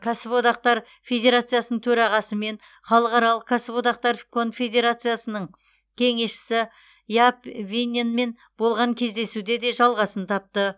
кәсіподақтар федерациясының төрағасы мен халықаралық кәсіподақтар конфедерациясының кеңесшісі яп винненмен болған кездесуде де жалғасын тапты